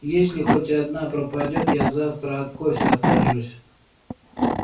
если хоть одна пропадёт я завтра от кофе откажусь